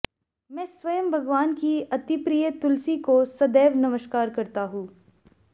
मैं स्वयं भगवान की अतिप्रिय तुलसी को सदैव नमस्कार करता हूँ